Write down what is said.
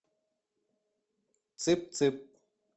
цып цып